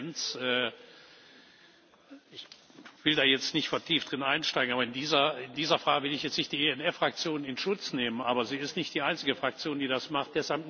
Die Tendenz ich will da jetzt nicht vertieft einsteigen, in dieser Frage will ich jetzt nicht die ENF Fraktion in Schutz nehmen, aber sie ist nicht die einzige Fraktion, die das macht.